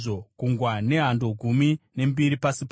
Gungwa nehando gumi nembiri pasi paro;